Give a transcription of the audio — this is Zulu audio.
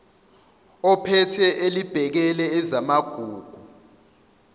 ophethe elibhekele ezamagugu